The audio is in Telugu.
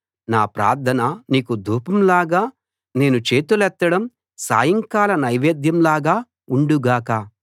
నా ప్రార్థన నీకు ధూపం లాగా నేను చేతులెత్తడం సాయంకాల నైవేద్యం లాగా ఉండు గాక